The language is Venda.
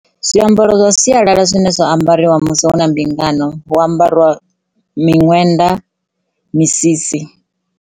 Zwiambaro zwa sialala zwine zwa ambariwa musi hu na mbingano hu ambariwa miṅwenda, misisi.